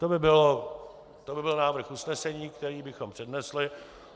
- To by byl návrh usnesení, který bychom přednesli.